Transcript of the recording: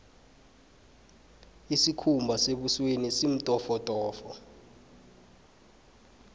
isikhumba sebusweni simtofotofo